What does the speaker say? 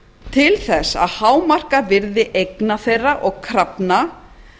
til þess að hámarka virði eigna þeirra og krafna